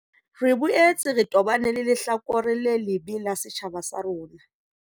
Re boetse re tobane le lehlakore le lebe la setjhaba sa rona.